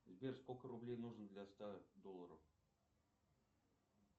сбер сколько рублей нужно для ста долларов